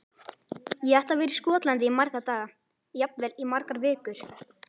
Ég ætla að vera í Skotlandi í marga daga, jafnvel í margar vikur.